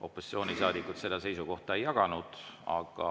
Opositsioonisaadikud seda seisukohta ei jaganud.